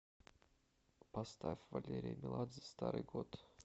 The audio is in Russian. поставь валерия меладзе старый год